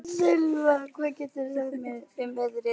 Sylva, hvað geturðu sagt mér um veðrið?